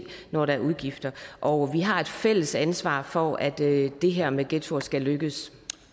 når der er udgifter og vi har et fælles ansvar for at det det her med ghettoer skal lykkes